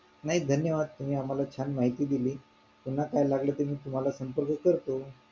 नाही धन्यवाद तुम्ही आम्हाला छान माहिती दिली पुन्हा काही लागलं तर मी तुम्हाला संपर्क करतो